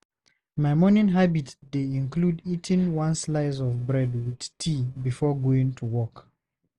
My morning habit dey include eating one slice of bread with tea before going to work.